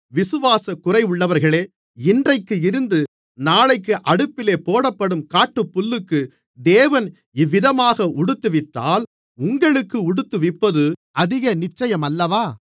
விசுவாசக்குறைவுள்ளவர்களே இன்றைக்கு இருந்து நாளைக்கு அடுப்பிலே போடப்படும் காட்டுப்புல்லுக்கு தேவன் இவ்விதமாக உடுத்துவித்தால் உங்களுக்கு உடுத்துவிப்பது அதிக நிச்சயமல்லவா